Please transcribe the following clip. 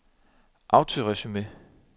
autoresume